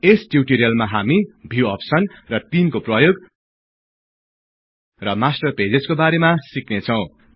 यस टिउटोरियलमा हामी view option र तिनको प्रयोग र मास्टर पेजेजको बारेमा सिक्नेछौं